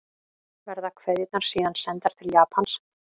Verða kveðjurnar síðan sendar til Japans